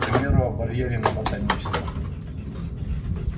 к примеру о барьере на ботаническом